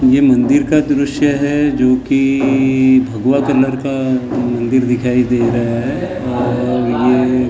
ये मंदीर का दुरुष्य है जो की इ इ भगवा कलर का मंदीर दिखाई दे रहा है